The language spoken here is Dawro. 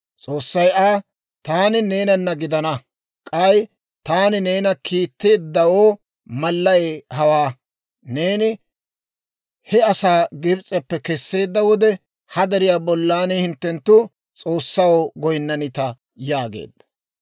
S'oossay Aa, «Taani neenana gidana; k'ay taani neena kiitteeddawoo mallay hawaa: neeni he asaa Gibs'eppe kesseedda wode, ha deriyaa bollan hinttenttu S'oossaw goynnanita» yaageedda.